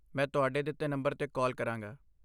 ਮੈਂ ਤੁਹਾਡੇ ਦਿੱਤੇ ਨੰਬਰ 'ਤੇ ਕਾਲ ਕਰਾਂਗਾ।